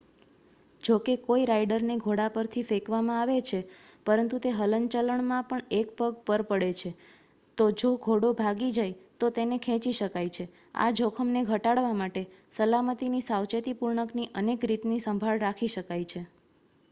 જો કોઈ રાઇડરને ઘોડા પરથી ફેંકવામાં આવે છે પરંતુ તે હલનચલણમાં એક પગ પર પડે છે તો જો ઘોડો ભાગી જાય તો તેને ખેંચી શકાય છે આ જોખમને ઘટાડવા માટે સલામતીની સાવેચેતીપૂર્ણકની અનેક રીતની સંભાળ રાખી શકાય છે